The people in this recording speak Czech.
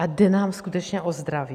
A jde nám skutečně o zdraví?